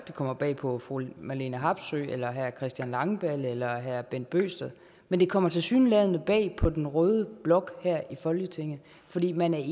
det kommer bag på fru marlene harpsøe eller herre christian langballe eller herre bent bøgsted men det kommer tilsyneladende bag på den røde blok her i folketinget fordi man ikke